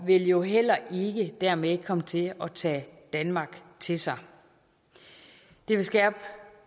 vil jo heller ikke dermed komme til at tage danmark til sig det vil skærpe